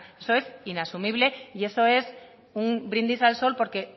esto es inasumible y eso es un brindis al sol porque